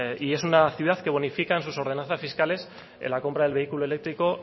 y es una ciudad que bonifica en sus ordenanzas fiscales la compra del vehículo eléctrico